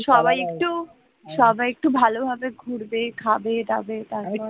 সবাই একটু সবাই একটু ভালোভাবে ঘুরবে খাবে দাবে তারপর